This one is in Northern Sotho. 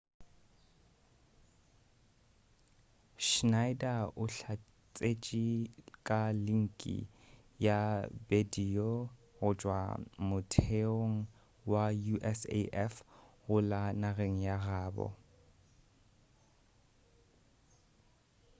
schneider o hlatsetše ka linki ya bedio go tšwa motheong wa usaf go la nageng ya gabo